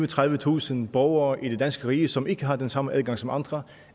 tredivetusind borgere i det danske rige som ikke har den samme adgang som andre